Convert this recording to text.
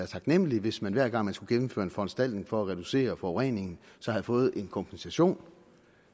taknemmelig hvis man hver gang man skulle gennemføre en foranstaltning for at reducere forureningen havde fået en kompensation